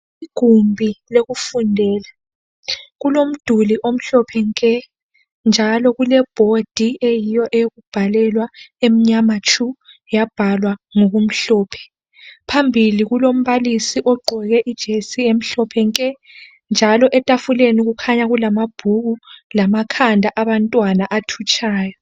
Igumbi lokufundela kulomduli omhlophe nke njalo kulebhodi eyiyo eyokubhalela emnyama tshu yabhalwa ngokumhlophe phambili kulombalisi ogqoke ijesi emhlophe nke njalo etafuleni kukhanya kulamabhuku lamakhanda athutshayo